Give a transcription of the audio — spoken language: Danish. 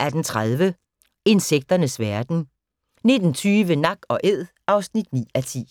18:30: Insekternes verden 19:20: Nak & Æd (9:10)